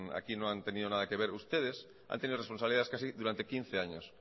aquí no han tenido nada que ver ustedes han tenido responsabilidades casi durante quince años